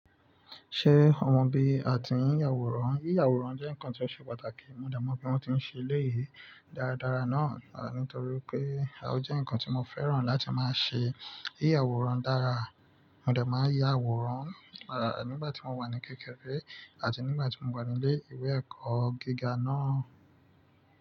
Ṣé ọma bi á tí yin àwòrán? Ya àwòrán jẹ́ nǹkan tí ó ṣe pàtàkì, mo dẹ̀ mọ̀ bí wọ́n ti ń ṣe eléyìí dáradára náà, nítorí pé ó jẹ́ nǹkan tí mo fẹ́ràn láti máa ṣe. Yà àwòrán dára, mo dẹ̀ máa yá àwòrán nígbà tí mo wà ní kékeré àti nígbà tí mo wà nílé ìwé ẹ̀kọ́ gíga náà.